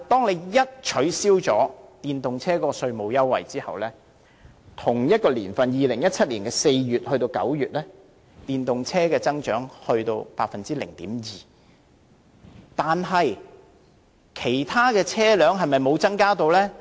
然而，一旦取消電動車稅務優惠 ，2017 年同期即4月至9月的電動車增長幅度卻下跌至只有 0.2%， 但其他車輛是否完全沒有增加呢？